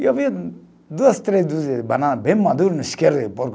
E eu vi duas, três dúzias de banana bem madura